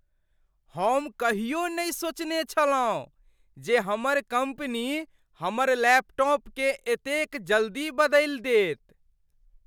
हम कहियो नहि सोचने छलहुँ जे हमर कम्पनी हमर लैपटॉपकेँ एतेक जल्दी बदलि देत।